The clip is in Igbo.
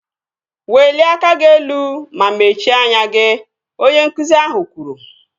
Welie aka gị elu ma mechie anya gị! Onye nkụzi ahụ kwuru